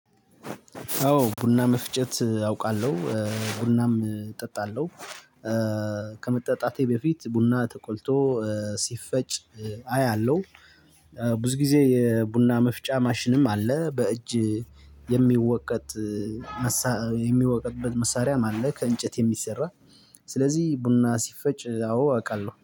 አዎ ቡና መፍጨት አውቃለሁ ቡናም እጠጣለሁ። ከመጠጣቴ በፊት ቡና ተቆልቶ ሲፈጭ አያለሁ። ብዙ ጊዜ የቡና መፍጫ ማሽንም አለ። በእጅ የሚወቀጥ። የሚወቀጥበት መሳሪያም አለ። ከእንጨት እንጨት የሚሰራ። ስለዚህ ቡና ሲፈጭ አዎ አውቃለሁ